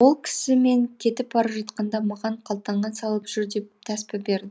ол кісі мен кетіп бара жатқанда маған қалтаңа салып жүр деп тәспі берді